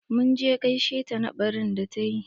Mun je gaishe ta na ɓarin da ta yi.